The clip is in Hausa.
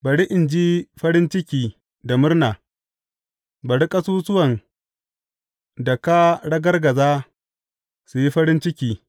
Bari in ji farin ciki da murna; bari ƙasusuwan da ka ragargaza su yi farin ciki.